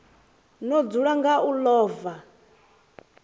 no dzula nga u ḽova